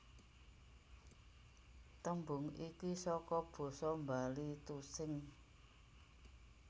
Tembung iki saka basa Bali tusing